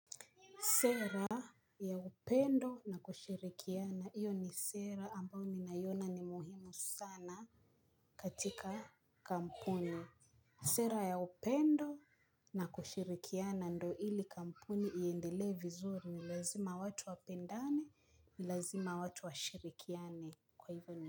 Sera ya upendo na kushirikiana hiyo ni sera ambao ninaiona ni muhimu sana katika kampuni. Sera ya upendo na kushirikiana ndo ili kampuni iendelee vizuri ni lazima watu wapendane, ni lazima watu washirikiane kwa hivyo ni.